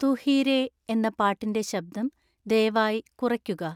തു ഹി രേ ' എന്ന പാട്ടിൻ്റെ ശബ്ദം ദയവായി കുറയ്ക്കുക